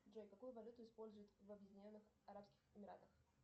джой какую валюту используют в объединенных арабских эмиратах